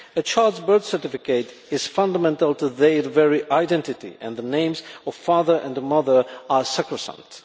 A child's birth certificate is fundamental to their very identity, and the names of father and mother' are sacrosanct.